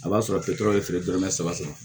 A b'a sɔrɔ kira ye feere dɔrɔmɛ saba saba